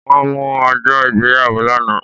Wọ́n mú ọjọ́ ìgbéyàwó lánàá